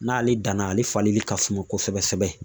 N'ale danna ale falenni ka suma kosɛbɛ kosɛbɛ